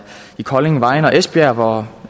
i kolding vejen og esbjerg hvor